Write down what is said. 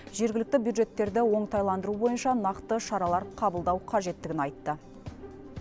жергілікті бюджеттерді оңтайландыру бойынша нақты шаралар қабылдау қажеттігін айтты